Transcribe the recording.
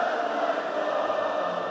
Qarabağ!